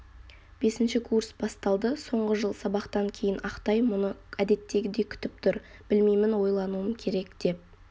бесінші курс басталды соңғы жыл сабақтан кейін ақтай мұны әдеттегідей күтіп тұр білмеймін ойлануым керек деп